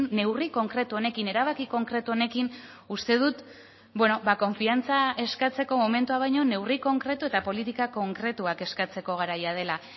neurri konkretu honekin erabaki konkretu honekin uste dut konfiantza eskatzeko momentua baino neurri konkretu eta politika konkretuak eskatzeko garaia dela